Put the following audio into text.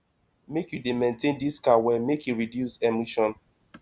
make you dey maintain dis car well make e reduce emission